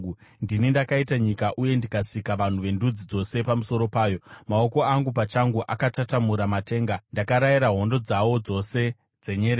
Ndini ndakaita nyika uye ndikasika vanhu vendudzi dzose pamusoro payo. Maoko angu pachangu akatatamura matenga; ndakarayira hondo dzawo dzose dzenyeredzi.